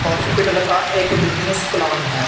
Hospital का एक business plan है।